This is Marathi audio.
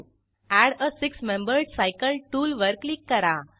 add a six membered cycle tool वर क्लिक करा